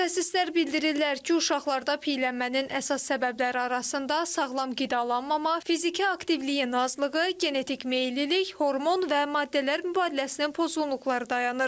Mütəxəssislər bildirirlər ki, uşaqlarda piyələnmənin əsas səbəbləri arasında sağlam qidalanmama, fiziki aktivliyin azlığı, genetik meyillilik, hormon və maddələr mübadiləsinin pozğunluqları dayanır.